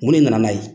Mun ne nana n'a ye